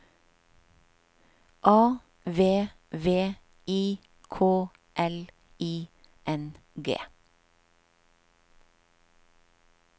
A V V I K L I N G